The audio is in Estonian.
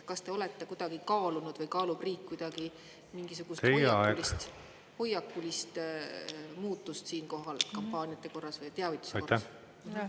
Kas te olete kuidagi kaalunud või kaalub riik kuidagi mingisugust hoiakulist muutust siinkohal kampaaniate korras või teavituse korras?